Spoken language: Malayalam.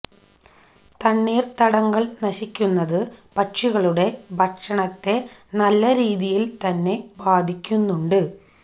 തണ്ണീര് തടങ്ങള് നശിക്കുന്നത് പക്ഷികളുടെ ഭക്ഷണത്തെ നല്ലരീതിയില് തന്നെ ബാധിക്കുന്നുണ്ട്